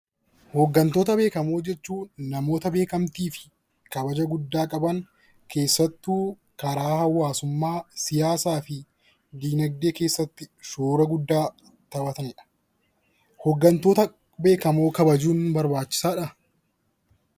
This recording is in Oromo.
Hooggantoota beekamoo jechuun hooggantoota beekamtii fi kabaja guddaa qaban keessattuu karaa hawaasummaa siyaasaa fi dinagdee keessatti shoora guddaa taphatanidha. Hooggantoota beekamoo kabajuun barbaachisaadha